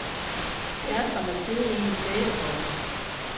Det er som at sidde i en sæbeboble.